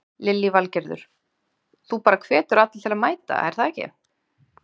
Lillý Valgerður: Þú bara hvetur alla til að mæta er það ekki?